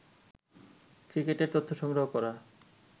ক্রিকেটের তথ্য সংগ্রহ করা